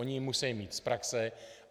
Oni ji musejí mít z praxe.